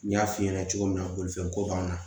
N y'a f'i ɲɛna cogo min na bolifɛnko b'an na